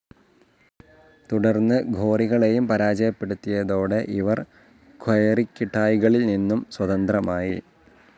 തുടർന്ന് ഗോറികളെയും പരാജയപ്പെടുത്തിയതോടെ ഇവർ ക്വയറിക്കിട്ടായ്കളിൽ നിന്നും സ്വതന്ത്രമായി.